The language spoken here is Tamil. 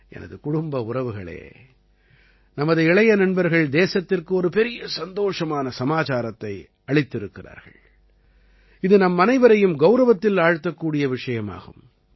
எனது குடும்ப உறவுகளே நமது இளைய நண்பர்கள் தேசத்திற்கு ஒரு பெரிய சந்தோஷமான சமாச்சாரத்தை அளித்திருக்கிறார்கள் இது நம்மனைவரையும் கௌரவத்தில் ஆழ்த்தக்கூடிய விஷயமாகும்